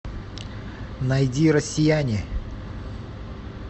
найди россияне